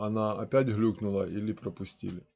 она опять глюкнула или пропустили